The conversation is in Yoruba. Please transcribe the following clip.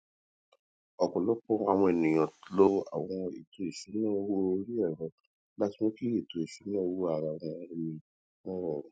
ọpọlọpọ àwọn ènìyàn lo àwọn ètò ìsúná owó orí ẹrọ láti mú kí ètò ìsúná owó ara ẹni wọn rọrùn